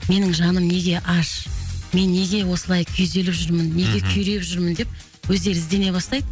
менің жаным неге аш мен неге осылай күйзеліп жүрмін мхм неге күйреп жүрмін деп өздері іздене бастайды